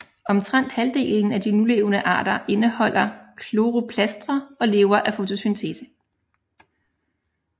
Omtrent halvdelen af de nulevende arter indeholder chloroplastre og lever af fotosyntese